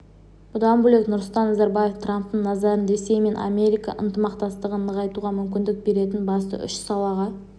бұдан бөлек нұрсұлтан назарбаев трамптың назарын ресей мен америка ынтымақтастығын нығайтуға мүмкіндік беретін басты үш салаға